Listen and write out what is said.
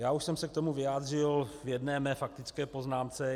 Já už jsem se k tomu vyjádřil v jedné své faktické poznámce.